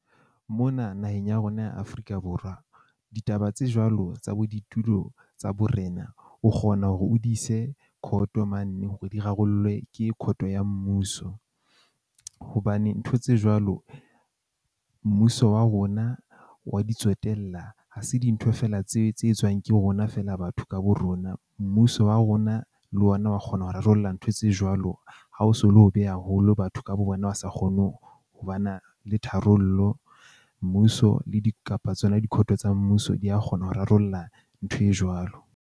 Mona naheng ya rona ya Afrika Borwa ditaba tse jwalo tsa bo ditulo tsa borena, o kgona hore o di ise court-o mane hore di rarollwe ke court-o ya mmuso. Hobane ntho tse jwalo mmuso wa rona wa di tswetella ha se dintho feela tse tse etswang ke rona feela batho ka bo rona. Mmuso wa rona le ona wa kgona ho rarollla ntho tse jwalo. Ha o so le hobe haholo batho ka bo bona ba sa kgone ho ba na le tharollo. Mmuso le di kapa tsona di-court-o tsa mmuso di a kgona ho rarolla ntho e jwalo.